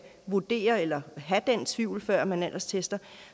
vurdere eller have den tvivl før man alderstester